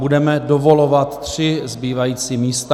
Budeme dovolovat tři zbývající místa.